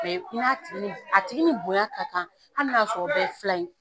a tigi ni bonya ka kan hali n'a y'a sɔrɔ o bɛɛ ye filan ye.